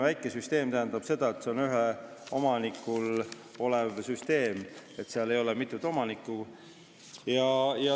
Väikesüsteem tähendab seda, et see on ühele omanikule kuuluv süsteem, sellel ei ole mitut omanikku.